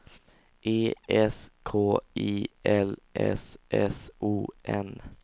E S K I L S S O N